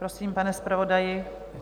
Prosím, pane zpravodaji.